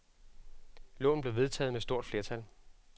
Loven blev vedtaget med stort flertal.